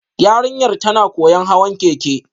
Yarinyar tana koyon hawan keke